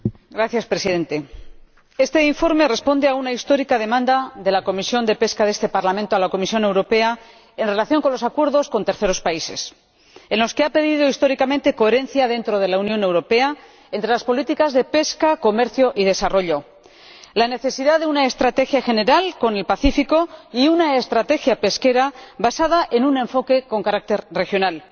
Señor Presidente, este informe responde a una histórica demanda de la Comisión de Pesca de este Parlamento a la Comisión Europea en relación con los acuerdos con terceros países, en los que ha pedido históricamente coherencia dentro de la Unión Europea entre las políticas de pesca, comercio y desarrollo, la necesidad de una estrategia general con el Pacífico y una estrategia pesquera basada en un enfoque con carácter regional.